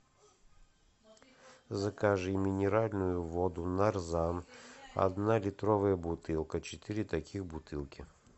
закажи минеральную воду нарзан одна литровая бутылка четыре таких бутылки